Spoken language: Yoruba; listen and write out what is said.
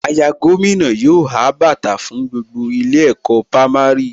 Àyà gómìnà yóò há bàtà fún gbogbo ilé ẹ̀kọ́ pámárì